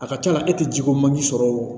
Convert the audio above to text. A ka ca la e tɛ jiko man ji sɔrɔ o